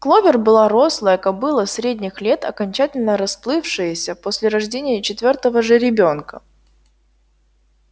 кловер была рослая кобыла средних лет окончательно расплывшаяся после рождения четвёртого жеребёнка